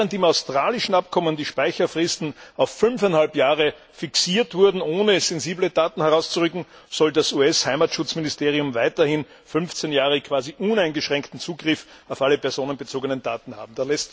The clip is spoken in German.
Während im australischen Abkommen die Speicherfristen auf fünfeinhalb Jahre fixiert wurden, ohne dass sensible Daten freigegeben werden, soll das US Heimatschutzministerium weiterhin 15 Jahre quasi uneingeschränkten Zugriff auf alle personenbezogenen Daten haben.